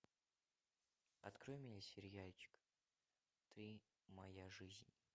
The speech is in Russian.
открой мне сериальчик ты моя жизнь